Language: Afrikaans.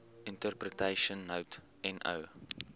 interpretation note no